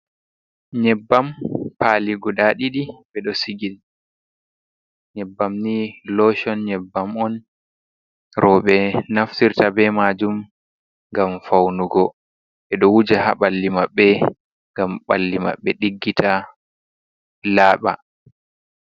Nyebbam pali guda ɗiɗi ɓe ɗo sigi. Nyebbam ni loshon nyebbam on roɓe naftirta be majum ngam faunugo, ɓe ɗo wuja ha ɓalli maɓɓe ngam ɓalli maɓɓe diggita laaɓa.